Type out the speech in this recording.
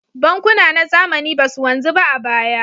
Bankuna na zamani ba su wanzu ba a baya.